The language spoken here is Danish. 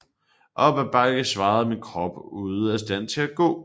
Op ad bakke svajede min krop ude af stand til at gå